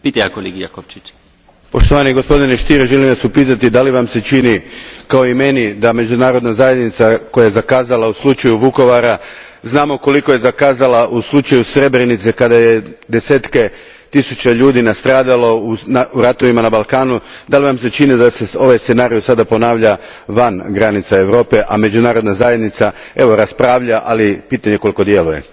Gospodine predsjedniče, poštovanje gospodine Stier, želim Vas upitati čini li vam se kao i meni da međunarodna zajednica koja je zakazala u slučaju Vukovara, znamo koliko je zakazala u slučaju Srebrenice, kada su deseci tisuća ljudi nastradali u ratovima na Balkanu, da li vam se čini da se ovaj scenario sada ponavlja van granica Europe, a međunarodna zajednica evo raspravlja, ali pitanje je koliko djeluje?